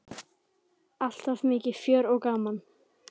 Alltaf mikið fjör og gaman.